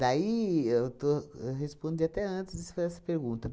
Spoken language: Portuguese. Daí, eu estou, eu respondi até antes, foi essa pergunta.